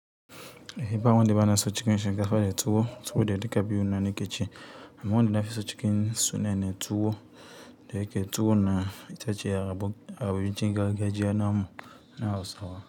Ehi ba wanda bana so cikin shinkafa da tuwo, tuwo da duka biyu na nake ci. Amma wanda nafi so cikin suna ne tuwo da yake tuwo na itace ya abuncin gargajiya namu na Hausawa.